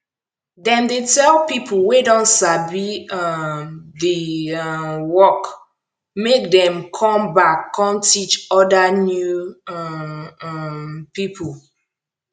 dem dey tell pipo wey don sabi um di um work make dem com back com teach oda new um um pipo